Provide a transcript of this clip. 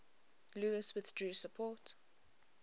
louis withdrew support